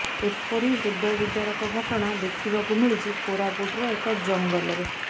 ଏପରି ହୃଦୟ ବିଦାରକ ଘଟଣା ଦେଖିବାକୁ ମିଳିଛି କୋରାପୁଟର ଏକ ଜଙ୍ଗଲରେ